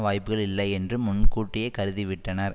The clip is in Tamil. வாய்ப்புக்கள் இல்லை என்று முன்கூட்டியே கருதிவிட்டனர்